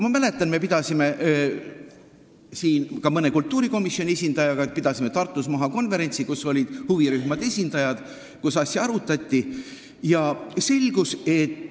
Ma mäletan, et me pidasime koos mõne kultuurikomisjoni esindajaga Tartus maha konverentsi, kus olid kohal huvirühmade esindajad ja kus asja arutati.